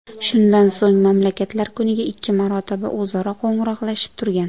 Shundan so‘ng, mamlakatlar kuniga ikki marotaba o‘zaro qo‘ng‘iroqlashib turgan.